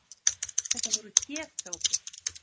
Þetta voru getgátur.